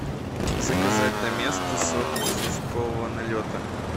заказать доместос от известкового налета